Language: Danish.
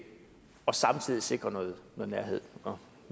og samtidig sikre noget nærhed nå